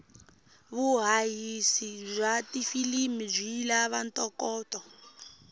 vuhhashi bwatifilimu bwilavanto koto